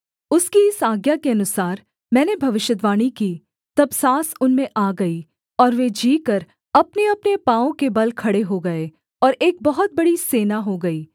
उसकी इस आज्ञा के अनुसार मैंने भविष्यद्वाणी की तब साँस उनमें आ गई और वे जीकर अपनेअपने पाँवों के बल खड़े हो गए और एक बहुत बड़ी सेना हो गई